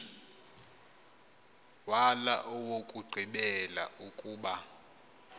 wala owokugqibela ukuba